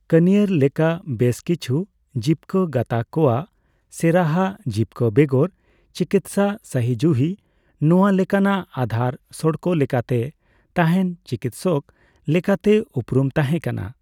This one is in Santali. ᱠᱟᱱᱤᱭᱟᱨ ᱞᱮᱠᱟ ᱵᱮᱥ ᱠᱤᱪᱷᱩ ᱡᱤᱵᱠᱟᱹ ᱜᱟᱛᱟᱠ ᱠᱚᱣᱟᱜ ᱥᱮᱨᱟᱦᱟ ᱡᱤᱵᱠᱟᱹ ᱵᱮᱜᱚᱨ ᱪᱤᱠᱤᱛᱥᱟ ᱥᱟᱦᱤ ᱡᱩᱦᱤ ᱱᱚᱣᱟ ᱞᱮᱠᱟᱱᱟᱜ ᱟᱫᱷᱟᱨ ᱥᱚᱨᱠᱚ ᱞᱮᱠᱟᱛᱮ ᱛᱟᱦᱮᱱ ᱪᱤᱠᱤᱛᱥᱚᱠ ᱞᱮᱠᱟᱛᱮ ᱩᱯᱨᱩᱢ ᱛᱟᱦᱮ ᱠᱟᱱᱟ ᱾